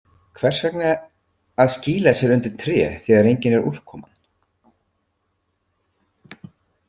Hvers vegna að skýla sér undir tré þegar engin er úrkoman?